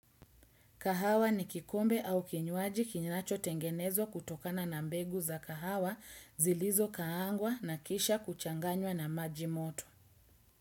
Kahawa ni kikombe au kinywaji kinachotengenezwa kutokana na mbegu za kahawa zilizokaangwa na kisha kuchanganywa na maji moto.